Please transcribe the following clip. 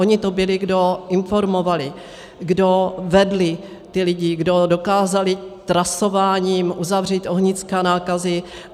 Ony to byly, kdo informovaly, kdo vedly ty lidi, kdo dokázaly trasováním uzavřít ohniska nákazy.